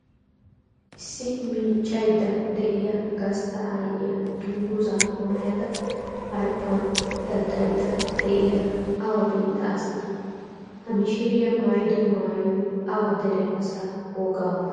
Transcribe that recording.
Issi miiccaydda de'iya gastta aayyiya dungguzzaa maayada harppan daddayiidda de'iyara awa biittaa asee? Ha mishiriya maayido maayoy awa dere asaa wogaa maayoo?